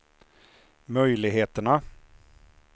möjligheterna